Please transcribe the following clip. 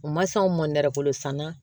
U ma s'anw ma nɛrɛ bolo san na